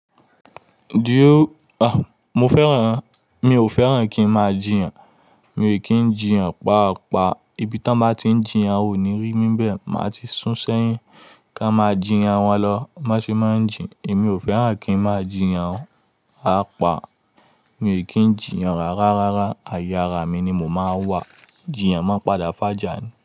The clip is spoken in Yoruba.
Dio! A, mo fẹ́ràn-- mi ò fẹ́ràn kí ń máa jiyàn, mi ò kí ń jiyàn paapaa, ibi tí wọ́n bá ti ń jiyàn ò ní rí mí bẹ́ẹ̀, màá ti sún sẹ́yìn. Ká n máa jiyàn wọn lọ, máṣe máa ń jin, èmi ò fẹ́ràn kí ń máa jiyàn o, papaa. Mi ń kí ń jiyàn rárá, rárá, ayeára mi ni mo máa ń wà. Jiyàn máa ń padà fà jà ní.